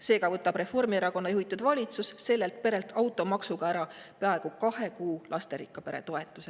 Seega võtab Reformierakonna juhitud valitsus sellelt perelt automaksuna ära peaaegu kahe kuu lasterikka pere toetuse.